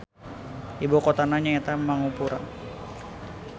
Ibu kotana nyaeta Mangupura.